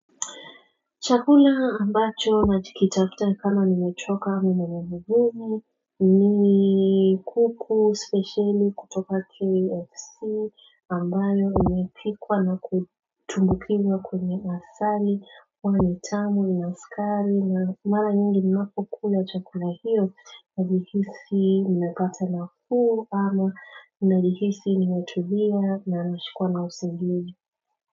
Chakula ambacho nachokitafuta sana nimechoka mwenye mbubu ni kuku speciali kutoka KFC ambayo imepikwa na kutumbukizwa kwenye asari huwa ni tamu inasukari na malanyingi ninapo kula chakula hiyo najihisi nimepata nafuu ama najihisi nimetibiwa na nashikwa na usingizi.